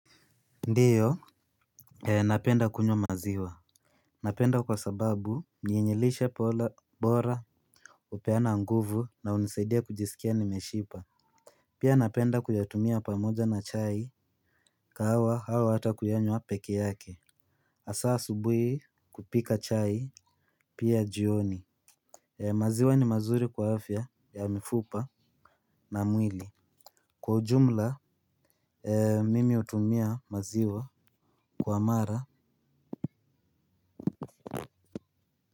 Ndio. Napenda kunywa maziwa. Napenda kwa sababu ni yenye lishe bora upeana nguvu na unisaidia kujisikia nimeshiba. Pia napenda kuyatumia pamoja na chai kahawa au hata kuyanywa peke yake. Hasaa asubuhi kupika chai pia jioni. Maziwa ni mazuri kwa afya ya mifupa na mwili. Kwa ujumla mimi hutumia maziwa kwa mara.